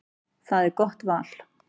Það er gott val.